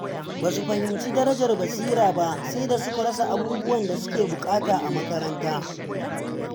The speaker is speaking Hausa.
Ba su fahimci darajar basira ba sai da suka rasa abubuwan da suke buƙata a makaranta.